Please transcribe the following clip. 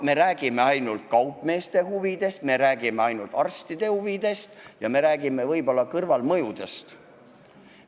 Me räägime ainult kaupmeeste huvidest, arstide huvidest ja võib-olla ka kõrvalmõjudest.